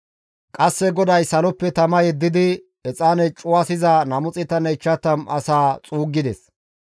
Qasseka GODAY saloppe tama yeddidi exaane cuwasiza 250 asaa xuuggides.